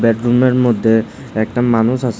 রুমের মধ্যে একটা মানুষ আছে।